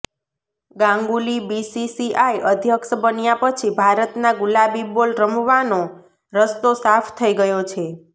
Ganguly BCCI અધ્યક્ષ બન્યા પછી ભારતના ગુલાબી બોલ રમવાનો રસ્તો સાફ થઈ ગયો છે